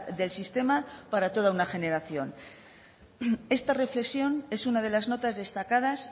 del sistema para toda una generación esta reflexión es una de las notas destacadas